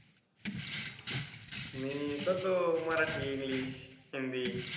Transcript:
मी करतो मराठी English हिंदी.